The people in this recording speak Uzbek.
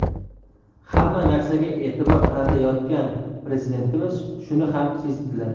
Hamma narsaga e’tibor qaratayotgan Prezidentimiz shuni ham sezibdilar.